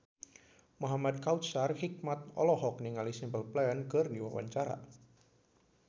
Muhamad Kautsar Hikmat olohok ningali Simple Plan keur diwawancara